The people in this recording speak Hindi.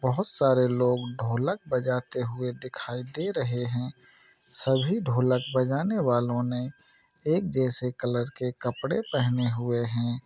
बहुत सारे लोग ढोलक बजाते हुए दिखाई दे रहे है। सभी ढोलक बजानेवालोने एक जैसे कलर के कपड़े पहने हुए है।